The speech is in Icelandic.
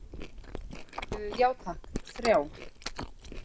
Já takk, þrjá.